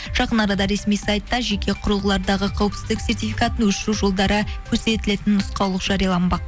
жақын арада ресми сайтта жеке құрылғылардағы қауіпсіздік сертификатын өшіру жолдары көрсетілетін нұсқаулық жарияланбақ